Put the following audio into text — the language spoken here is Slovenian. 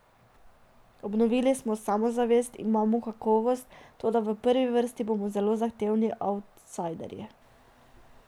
Obnovili smo samozavest, imamo kakovost, toda v prvi vrsti bomo zelo zahtevni avtsajderji.